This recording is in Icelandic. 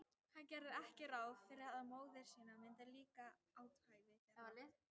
Hann gerði ekki ráð fyrir að móður sinni myndi líka athæfi þeirra.